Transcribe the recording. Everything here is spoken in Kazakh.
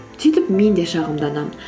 сөйтіп мен де шағымданамын